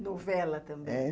– Novela também? É.